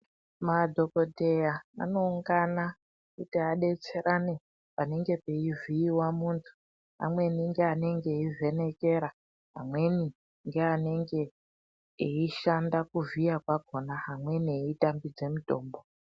Madhokodheya anoungana kuti adetserane panenge peivhiiwa muntu amweni ngeanenge eivhenekera ,amweni ngeanenge eishanda kuvhiya kwakona amweni eitambidze mitombo.